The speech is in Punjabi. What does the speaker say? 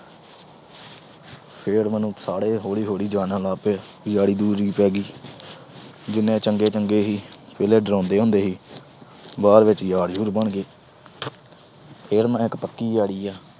ਫਿਰ ਮੈਨੂੰ ਸਾਰੇ ਹੌਲੀ-ਹੌਲੀ ਜਾਣਨ ਲੱਗ ਪਏ, ਯਾਰੀ-ਯੁਰੀ ਪੈ ਗਈ। ਜਿੰਨੇ ਚੰਗੇ-ਚੰਗੇ ਸੀ, ਪਹਿਲਾ ਡਰਾਉਂਦੇ ਹੁੰਦੇ ਸੀ। ਬਾਅਦ ਚ ਯਾਰ-ਯੁਰ ਬਣ ਗਏ। ਫਿਰ ਮੇਰਾ ਇੱਕ ਪੱਕਾ ਈ ਆੜੀ ਆ